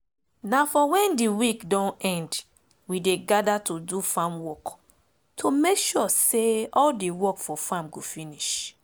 na for wen de week don end we dey geda to do farm work to make sure say all de work for farm go finish